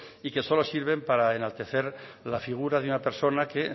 y que solo sirven para enaltecer la figura de una persona que